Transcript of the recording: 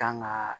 Kan ga